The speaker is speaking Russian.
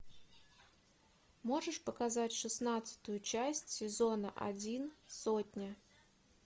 можешь показать шестнадцатую часть сезона один сотня